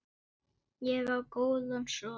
Ég á góðan son.